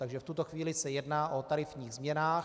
Takže v tuto chvíli se jedná o tarifních změnách.